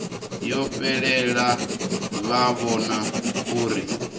yo fhelela vha vhona uri